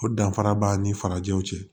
O danfara b'a ni farajɛw cɛ